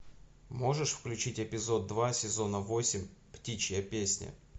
можешь включить эпизод два сезона восемь птичья песня